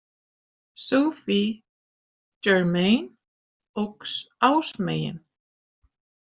Sophie Germain óx ásmegin.